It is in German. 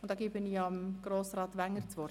Ich gebe dem Kommissionspräsidenten das Wort.